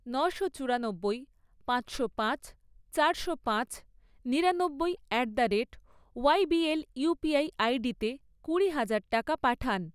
নশো চুরানব্বই, পাঁচশো পাঁচ, চারশো পাঁচ, নিরানব্বই at the rate YBL UPI আইডিতে কুড়ি হাজার টাকা পাঠান।